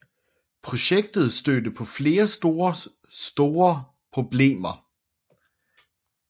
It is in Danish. Projektet stødte på flere store store problemer